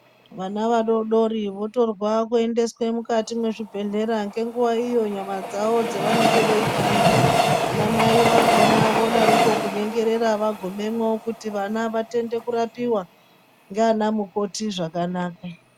Vana vadodori votorwa kuendeswa mukati mwezvibhedhlera ngenguwa iyo nyama dzawo dzavanenge veipanda. Anamai vakhona vodaroko kunyengerera vagumemwo kuti vana vatende kurapiwa nganamukoti zvakanaka.